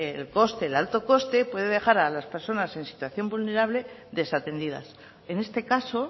el coste el alto coste puede dejar a las personas en situación vulnerable desatendidas en este caso